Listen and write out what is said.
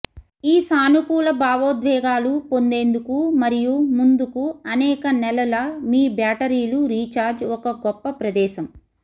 ఈ సానుకూల భావోద్వేగాలు పొందేందుకు మరియు ముందుకు అనేక నెలల మీ బ్యాటరీలు రీఛార్జ్ ఒక గొప్ప ప్రదేశం